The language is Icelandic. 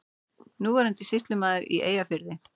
Núverandi sýslumaður í Eyjafirði.